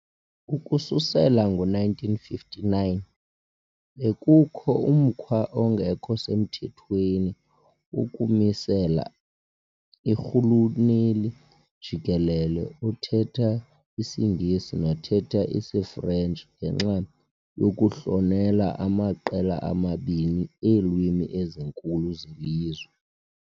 Ukususela ngo-1959, bekukho umkhwa ongekho semthethweni wokumisela irhuluneli jikelele othetha isiNgesi nothetha isiFrentshi ngenxa yokuhlonela amaqela amabini eelwimi ezinkulu zelizwe.